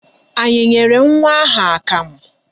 Anyị nyere nwa ahụ akamụ?